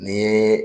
Ni ye